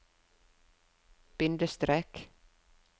bindestrek